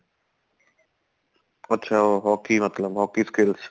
ਅੱਛਾ hockey ਮਤਲਬ hockey skills